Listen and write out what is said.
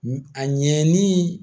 A ɲɛninin